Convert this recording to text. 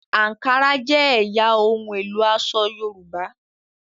Ankara jé ẹyà ohun èlo aṣọ yorùbá.